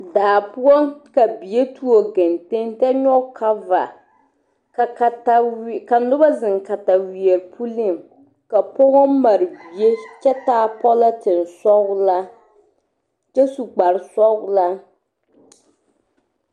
Saa poɔ ka bie tuo kenteŋ kyɛ nyɔge cover ka kataweɛ ka noba zeŋ kataweɛ puliŋ ka pɔga mare bie kyɛ taa polythene sɔgelaa kyɛ su kpare sɔgelaa